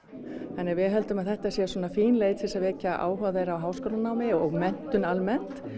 þannig að við höldum að þetta sé fín leið til að vekja áhuga þeirra á háskólanámi og menntun almennt